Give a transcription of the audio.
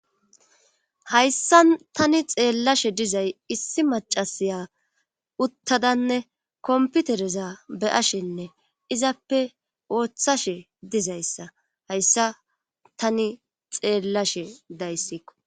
Hayssa tani xeellashe dizay issi macasiya uttadanne komputereza beyashinne izappe ooththashe dizayssa hayssa tani xeellashe dayssikko.